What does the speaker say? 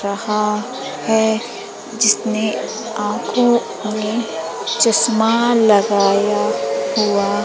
यहां है जिसने आंखों में चश्मा लगाया हुआ--